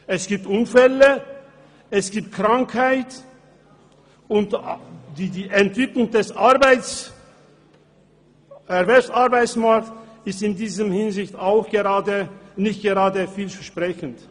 Es gibt Unfälle, Krankheiten und die Entwicklung des Arbeitsmarkts ist in dieser Hinsicht nicht gerade vielversprechend.